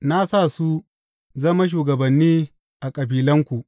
Na sa su zama shugabanni a kabilanku.